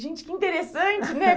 Gente, que interessante, né?